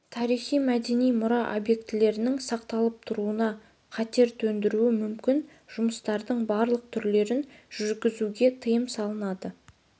тарихи-мәдени мұра объектілерінің сақталып тұруына қатер төндіруі мүмкін жұмыстардың барлық түрлерін жүргізуге тыйым салынады